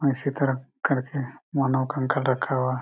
इसी तरफ कर के मानव कंकाल रखा हुआ हैं।